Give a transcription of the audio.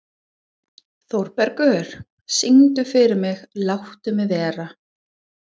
Þórbergur, syngdu fyrir mig „Láttu mig vera“.